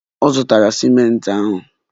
Ọ zụtaghị ciment ahụ.